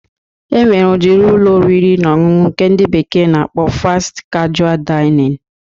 E nwere udiri Ụlọ oriri na ọṅụṅụ ndị bekee na-akpọ Fasti kajual Dainịn